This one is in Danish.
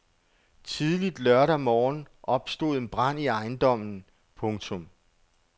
Tidligt lørdag morgen opstod en brand i ejendommen. punktum